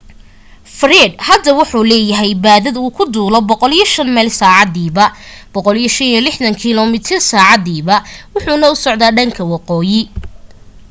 fred hadda wuxuu leeyahay baadad uu ku duulo 105 mayl saacadiiba 165km/h wuxuuna u socda dhanka waqooyi